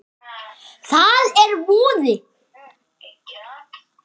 Það er voði